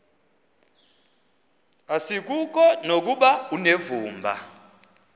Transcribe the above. asikuko nokuba unevumba